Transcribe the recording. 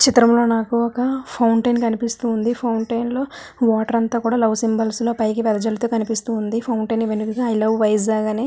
ఈ చిత్రం నాకు ఒక ఫౌంటెన్ కనిపిస్తుంది ఫౌంటెన్ లొ వాటర్ అంతా కూడా లవ్ సింబల్ లో పైకి వెదజలుతు కనిపిస్తుంది ఫౌంటెన్ ఇవి అన్ని ఐ లవ్ వైజాగ్ అని --